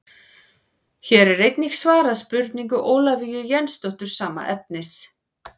Hér er einnig svarað spurningu Ólafíu Jensdóttur sama efnis.